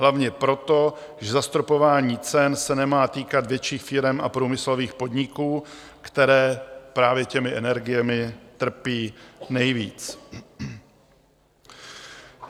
Hlavně proto, že zastropování cen se nemá týkat větších firem a průmyslových podniků, které právě těmi energiemi trpí nejvíc.